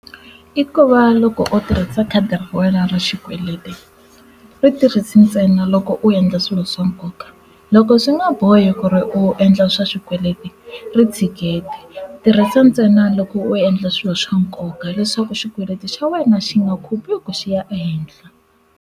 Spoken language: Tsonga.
I ku va loko u tirhisa khadi ra wena ra xikweleti ri tirhisi ntsena loko u endla swilo swa nkoka loko swi nga bohi ku ri u endla swa xikweleti ri tshikete tirhisa ntsena loko u endla swilo swa nkoka leswaku xikweleti xa wena xi nga khupuki xi ya ehenhla.